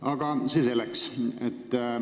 Aga see selleks.